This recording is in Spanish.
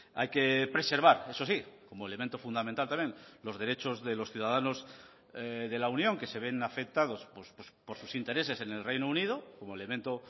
hay que preservar eso sí como elemento fundamental también los derechos de los ciudadanos de la unión que se ven afectados por sus intereses en el reino unido como elemento